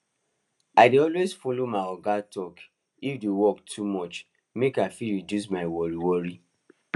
i dey always follow my oga talk if the work too much make i fit reduce my worri worri